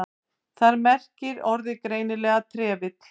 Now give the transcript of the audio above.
Þar merkir orðið greinilega trefill.